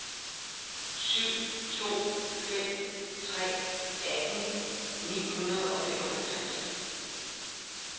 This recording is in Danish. syv to fem tre atten ni hundrede og femoghalvtreds